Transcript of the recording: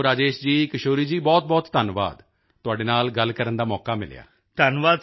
ਚਲੋ ਰਾਜੇਸ਼ ਜੀ ਕਿਸ਼ੋਰ ਜੀ ਬਹੁਤਬਹੁਤ ਧੰਨਵਾਦ ਤੁਹਾਡੇ ਨਾਲ ਗੱਲ ਕਰਨ ਦਾ ਮੌਕਾ ਮਿਲਿਆ